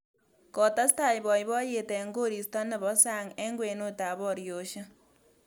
Kotestai boiboiyet eng koristo nebo sang eng kwenutab boriosiek